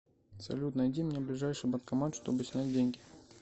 салют найди мне ближайший банкомат чтобы снять деньги